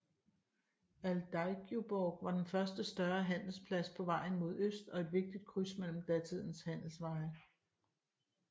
Aldeigjuborg var den første større handelsplads på vejen mod øst og et vigtigt kryds mellem datidens handelsveje